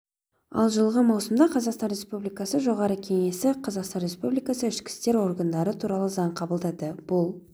ал жылғы маусымда қазақстан республикасы жоғарғы кеңесі қазақстан республикасы ішкі істер органдары туралы заң қабылдады бұл